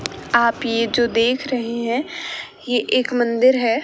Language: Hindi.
आप ये जो देख रहे हैं ये एक मंदिर है।